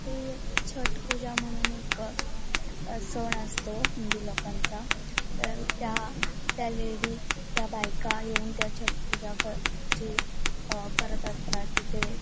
ही एक छट्ट पूजा म्हणून एक सन असतो हिंदी लोकांचा तर त्या लेडीज त्या बाइका येऊन त्या छट्ट पूजा क चे अ करत असतात तिथे.